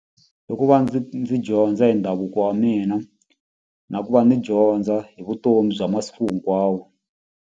Hi ku va ndzi ndzi dyondza hi ndhavuko wa mina na ku va ndzi dyondza hi vutomi bya masiku hinkwawo.